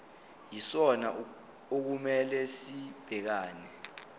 yisona okumele sibhekane